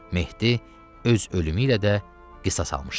Mehdi öz ölümü ilə də qisas almışdı.